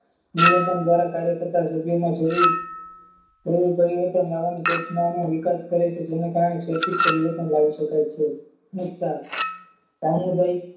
મૂલ્યાંકન દ્વારા કાર્ય કરતા જરૂર પરિવર્તન લેવાની ઘટનાની વિકાસ કર્યો છે જેના કારણે વ્યવસ્થિત પરિવર્તન લાવી શકાય છે સામુદાયિક